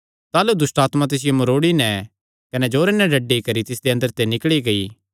ताह़लू दुष्टआत्मा तिसियो मरोड़ी नैं कने जोरे नैं डड्डी करी तिसदे अंदरे ते निकल़ी गेई